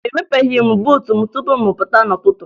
Emepeghi m buutu m tupu m pụta n'ụtụtụ